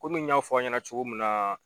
Komi n y'a fɔ aw ɲɛna cogo min na